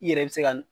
I yɛrɛ bɛ se ka